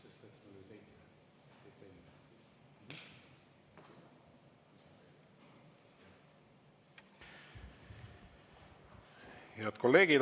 Head kolleegid!